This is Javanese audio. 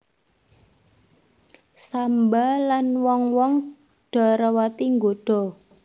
Samba lan wong wong Dwarawati nggoda